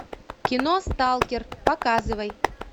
кино сталкер показывай